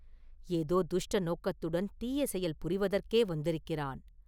ஏதோ துஷ்ட நோக்கத்துடன் தீய செயல் புரிவதற்கே வந்திருக்கிறான்.